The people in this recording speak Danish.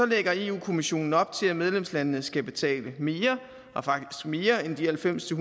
lægger europa kommissionen op til at medlemslandene skal betale mere og faktisk mere end de halvfems til